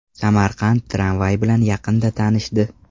Samarqand tramvay bilan yaqinda tanishdi.